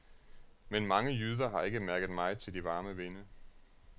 Men mange jyder har ikke mærket meget til de varme vinde.